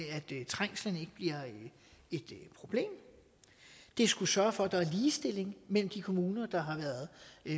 trængslen ikke bliver et problem det skulle sørge for at der er ligestilling mellem de kommuner der har været